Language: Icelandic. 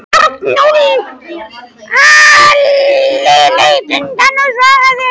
Halli leit undan og svaraði ekki.